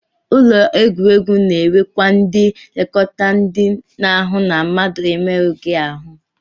Ụlọ egwuregwu na-enwekwa ndị nlekọta ndị na-ahụ na mmadụ emerụghị ahụ